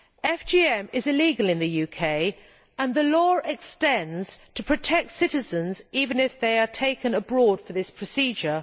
FGM is illegal in the UK and the law extends to protect citizens even if they are taken abroad for this procedure.